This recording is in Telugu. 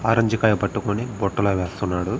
ఆరంజ్ కాయ పట్టుకొని బుట్టలో వేస్తున్నాడు.